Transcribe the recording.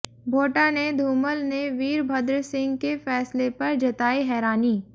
भोटा ने धूमल ने वीरभद्र सिंह के फैसले पर जताई हैरानी